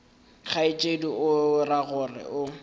kgaetšedi o ra gore o